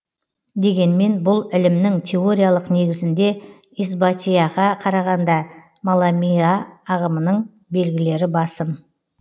дегенмен бұл ілімнің теориялық негізінде исбатийаға қарағанда маламийа ағымының белгілері басым